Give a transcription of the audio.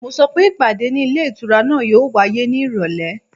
Mo sọ pé ìpàdé ní ilé ìtura náà yóò wáyé ní ìrọ̀lẹ́